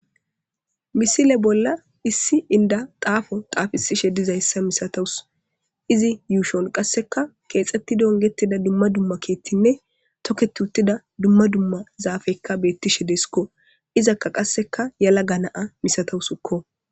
Misile bolla issi inda xaafo xaafisishe dizayssa misatawus izi yuushon qasseka keexxetti dongetida dumma dumma keethtinne tokketuttida dumma dumma zaafekka beettishe desikko izakka qasseka yala ga naa misatawusukko